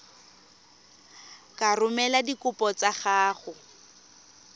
ka romela dikopo tsa gago